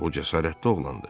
O cəsarətli oğlandır.